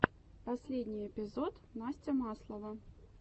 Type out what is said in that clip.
последний эпизод настя маслова